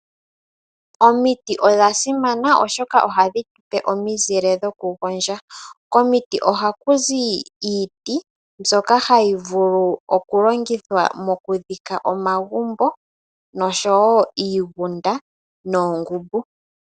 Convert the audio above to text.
Omiti odha simana, oshoka ohadhi tupe omizile dhoku gondja. Komiti ohaku zi iiti mbyoka hayi vulu oku longithwa mokudhika omagumbo, iigunda noshowo omankolo.